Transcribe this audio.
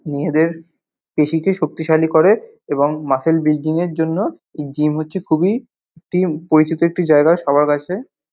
মেয়েদের পেশীকে শক্তিশালী করে এবং মাসল বিল্ডিং -এর জন্য জিম হচ্ছে খুবই পরিচিত জায়গা সবার কাছে।